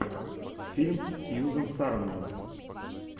фильм сьюзен сарандон